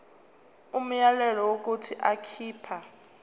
umyalelo wokuthi akhipha